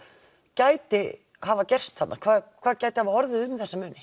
gæti hafa gerst þarna hvað hvað gæti hafa orðið um þessa muni